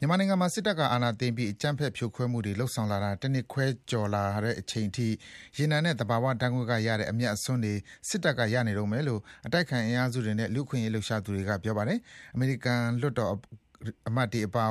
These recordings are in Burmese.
မြန်မာနိုင်ငံမှာ စစ်တပ်က အာဏာသိမ်းပြီး အကြမ်းဖက်ဖြိုခွဲမှုတွေ လုပ်ဆောင်လာတာ တနှစ်ခွဲကျော် ကြာလာတဲ့အချိန်ထိ ရေနံနဲ့ သဘာဝဓါတ်ငွေ့ကရတဲ့ အမြတ်အစွန်းတွေ စစ်တပ်က ရနေတုန်းပဲလို့ အတိုက်အခံ အင်အားစုတွေနဲ့ လူ့အခွင့်အရေး လှုပ်ရှားသူတွေက ပြောပါတယ်။ အမေရိကန် လွှတ်တော်အမတ်တွေကပါ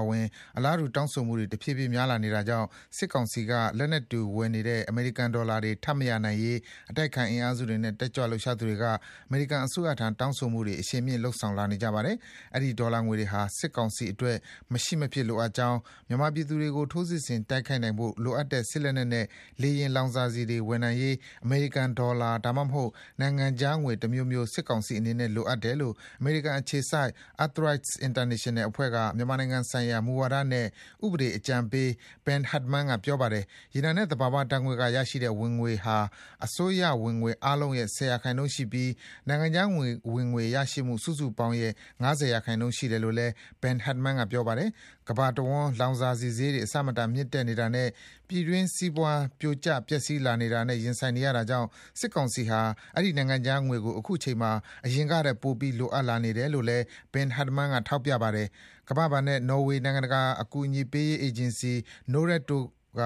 အလားတူ တောင်းဆိုမှုတွေ တဖြည်းဖြည်း များလာနေတာကြောင့် စစ်ကောင်စီက လက်နက်တွေဝယ်နေတဲ့ အမေရိကန်ဒေါ်လာတွေ ထပ်မရနိုင်ရေး အတိုက်အခံအင်အားစုတွေနဲ့ တက်ကြွလှုပ်ရှားသူတွေက အမေရိကန်အစိုးရထံ တောင်းဆိုမှုတွေ အရှိန်မြှင့် လုပ်ဆောင်လာနေကြပါတယ်။ အဲဒီ ဒေါ်လာငွေတွေဟာ စစ်ကောင်စီအတွက် မရှိမဖြစ်လိုအပ်ကြောင်း၊ မြန်မာပြည်သူတွေကို ထိုးစစ်ဆင်တိုက်ခိုက်နိုင်ဖို့ လိုအပ်တဲ့ စစ်လက်နက်နဲ့ လေယာဉ် လောင်စာဆီတွေ ဝယ်နိုင်ရေး အမေရိကန်ဒေါ်လာ၊ ဒါမှမဟုတ် နိုင်ငံခြားငွေတမျိုးမျိုး စစ်ကောင်စီအနေနဲ့လိုအပ်တယ်လို့ အမေရိကန်အခြေစိုက် EarthRights International အဖွဲ့က မြန်မာနိုင်ငံဆိုင်ရာ မူဝါဒနဲ့ ဥပဒေအကြံပေး Ben Hardman က ပြောပါတယ်။ ရေနံနဲ့ သဘာဝဓါတ်ငွေ့ကရတဲ့ဝင်ငွေဟာ အစိုးရဝင်ငွေအားလုံးရဲ့ ၁၀% ရှိပြီး နိုင်ငံခြားဝင်ငွေရရှိမှုစုစုပေါင်းရဲ့ ၅၀% ရှိတယ်လို့ Ben Hardman က ပြောပါတယ်။ ကမ္ဘာတဝန်း လောင်စာဆီဈေးတွေ အဆမတန် မြင့်တက်နေတာနဲ့ ပြည်တွင်းစီးပွား ပြိုကျ ပျက်စီးလာနေတာနဲ့ ရင်ဆိုင်နေရတာကြောင့် စစ်ကောင်စီဟာ အဲဒီ နိုင်ငံခြားငွေကို အခုချိန်မှာ အရင်ကထက် ပိုပြီး လိုအပ်လာနေတယ်လို့ Ben Hardman က ထောက်ပြပါတယ်။ ကမ္ဘာဘဏ်နဲ့ နော်ဝေးနိုင်ငံတကာအကူအညီပေးရေး အေဂျင်စီ Norad တို့က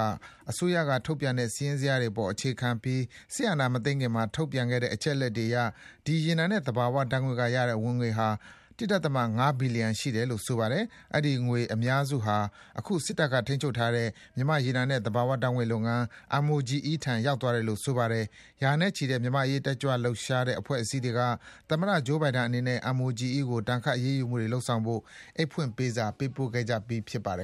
အစိုးရကထုတ်ပြန်တဲ့ စာရင်းဇယားတွေအပေါ် အခြေခံပြီး စစ်အာဏာမသိမ်းခင်မှာ ထုတ်ပြန်တဲ့ အချက်အလက်တွေအရ ဒီ ရေနံနဲ့ သဘာဝဓါတ်ငွေ့ကရတဲ့ဝင်ငွေဟာ ၁.၅ ဘီလီယံရှိတယ်လို့ ဆိုပါတယ်။ အဲဒီငွေ အများစုဟာ အခု စစ်တပ်ကထိန်းချုပ်ထားတဲ့ မြန်မာ့ရေနံနဲ့ သဘာဝဓါတ်ငွေ့လုပ်ငန်း MOGE ထံ ရောက်သွားတယ်လို့ ဆိုပါတယ်။ ရာနဲ့ချီတဲ့ မြန်မာ့အရေး တက်ကြွလှုပ်ရှားတဲ့ အဖွဲ့အစည်းတွေက သမ္မတ Joe Biden အနေနဲ့ MOGE ကို ဒဏ်ခတ် အရေးယူမှုတွေလုပ်ဆောင်ဖို့ အိတ်ဖွင့်ပေးစာ ပေးပို့ခဲ့ကြပြီး ဖြစ်ပါတယ်